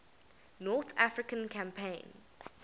north african campaign